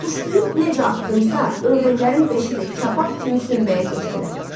Tuşlayıb necə atdımsa, ördəklərin beşi də kabab kimi sümbəyə keçdilər.